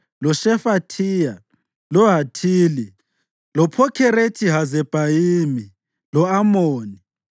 loShefathiya, loHathili, loPhokherethi-Hazebhayimi lo-Amoni.